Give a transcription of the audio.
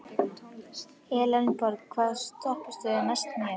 Elenborg, hvaða stoppistöð er næst mér?